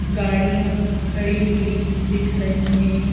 गाड़ियां खड़ी हुई दिख रही है।